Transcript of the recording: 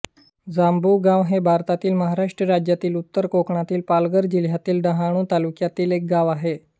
जांभुगाव हे भारतातील महाराष्ट्र राज्यातील उत्तर कोकणातील पालघर जिल्ह्यातील डहाणू तालुक्यातील एक गाव आहे